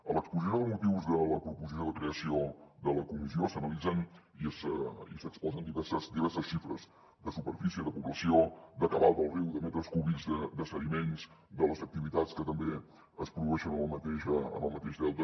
a l’exposició de motius de la proposició de creació de la comissió s’analitzen i s’exposen diverses xifres de superfície de població de cabal del riu de metres cúbics de sediments de les activitats que també es produeixen en el mateix delta